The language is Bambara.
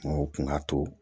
O kun ka to